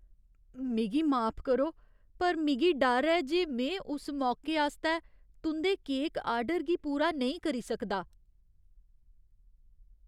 मिगी माफ करो, पर मिगी डर ऐ जे में उस मौकै आस्तै तुं'दे केक ऑर्डर गी पूरा नेईं करी सकदा।